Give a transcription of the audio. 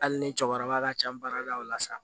Hali ni cɛkɔrɔba ka ca baara la o la sa